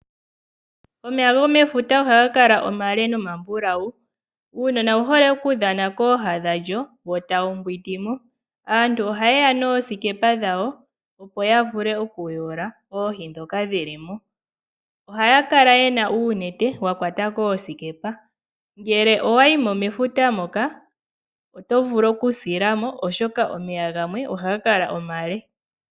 Omeya gomefuta ohaga kala omale nomambulawu . Uunona owuhole okudhana kooha dhefuta wo tawu mbwindi mo . Aantu ohayeya noosikepa dhawo opo yavule oku yula oohi ndhoka dhilimo ,ohaya kala yena oonete dhakwata koosikepa ngele owayimo mefuta moka oto vulu oku silamo oshoka omeya gamwe ohaga kala omale.